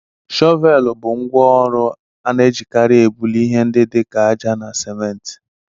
Shọvéélu bụ ngwá ọrụ a na-ejikarị èbuli ihe ndi dị ka ájá na siménti